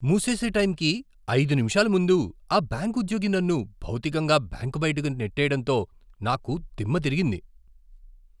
మూసేసే టైంకి ఐదు నిమిషాల ముందు ఆ బ్యాంకు ఉద్యోగి నన్ను భౌతికంగా బ్యాంకు బయటకు నెట్టేయడంతో నాకు దిమ్మతిరిగింది.